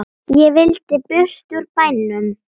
Ég vildi burt úr bænum.